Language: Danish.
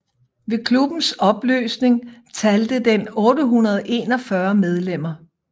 Ved klubbens opløsning talte den 841 medlemmer